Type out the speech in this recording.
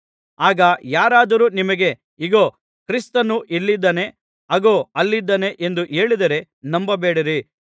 ಆಗ ಯಾರಾದರು ನಿಮಗೆ ಇಗೋ ಕ್ರಿಸ್ತನು ಇಲ್ಲಿದ್ದಾನೆ ಅಗೋ ಅಲ್ಲಿದ್ದಾನೆ ಎಂದು ಹೇಳಿದರೆ ನಂಬಬೇಡಿರಿ